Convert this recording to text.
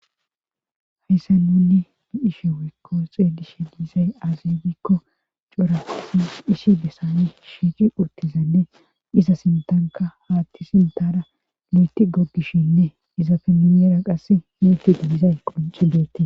hayssa nunni ni ishe wikko xeelishe biizay azibikko coratinu hishi bessane shiici urtizanne iza sintanka haatti sintara lueti goggishinne izafe nuyeera qasse muefidi dizay qonci beette